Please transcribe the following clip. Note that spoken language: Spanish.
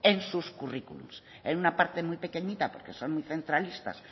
en sus curriculums en una parte muy pequeñita porque son muy centralistas